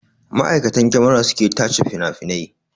Ma'aikatan kyamara su ke tace finafinai